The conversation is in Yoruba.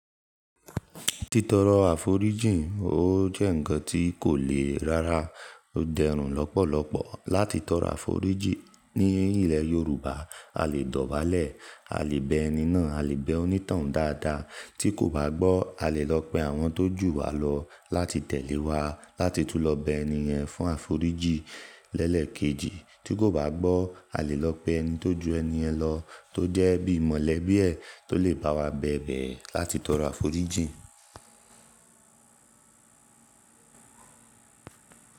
Títọrọ àforíjì ó jẹ́ ǹkan tí kò le rara, ó dẹrùn lọ́pọ̀lọpọ̀. Láti tọrọ àforíjì ní ilẹ̀ Yorùbá, a lè dọ̀bálẹ̀, a lè bẹ ẹni náà, a lè bẹ onítoun dáadáa. Tí kò bá gbọ́, a lè lọ pe àwọn tó jù wá lọ láti tẹ̀lé wá láti tún lọ bẹ ẹni yẹn fún àforíjì lẹ́lẹ̀ kejì. Tí kò bá gbọ́, a lè lọ pe ẹni tó ju ẹni yẹn lọ tó jẹ́ bí mọ̀lẹ bíẹ̀ tó lè bá wa bẹ̀bẹ̀ láti tọrọ àforíjì.